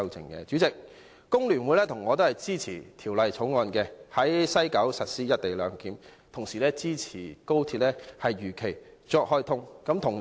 代理主席，我和工聯會均支持《條例草案》，在西九龍站實施"一地兩檢"，同時支持高鐵如期開通。